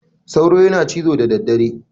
Sauro yana cizo da da dare.